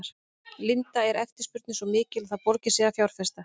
Linda: Er eftirspurnin svo mikil að það borgi sig að fjárfesta?